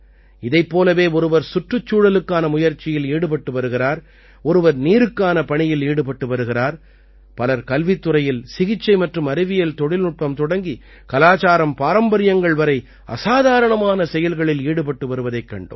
இதைப் போலவே ஒருவர் சுற்றுச்சூழலுக்கான முயற்சியில் ஈடுபட்டு வருகிறார் ஒருவர் நீருக்கான பணியில் ஈடுபட்டு வருகிறார் பலர் கல்வித் துறையில் சிகிச்சை மற்றும் அறிவியல் தொழில்நுட்பம் தொடங்கி கலாச்சாரம்பாரம்பரியங்கள் வரை அசாதாரணமான செயல்களில் ஈடுபட்டு வருவதைக் கண்டோம்